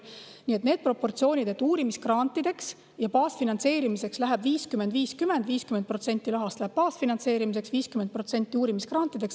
Need on proportsioonid: 50% rahast läheb baasfinantseerimiseks ja 50% uurimisgrantideks.